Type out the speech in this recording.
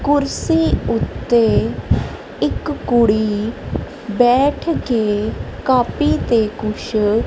ਕੁਰਸੀ ਉੱਤੇ ਇੱਕ ਕੁੜੀ ਬੈਠ ਕੇ ਕਾਪੀ ਤੇ ਕੁਛ --